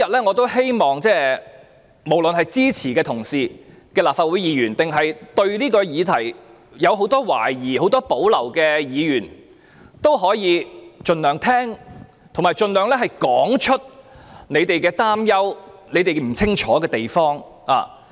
我希望無論是支持議案的同事，還是對這項議題有很多懷疑和保留的議員，今天均可盡量聆聽和說出他們的擔憂和不清楚之處。